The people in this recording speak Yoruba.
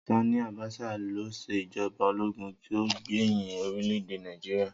Sání Àbásà lo se ìjọba ológun tí o gbẹhin orílẹ̀-èdè Nàìjíríà.